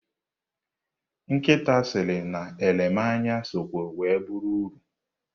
Nkịta sịrị na elemanya sokwa were bụrụ ọrụ.